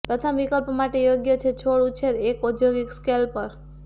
પ્રથમ વિકલ્પ માટે યોગ્ય છે છોડ ઉછેર એક ઔદ્યોગિક સ્કેલ પર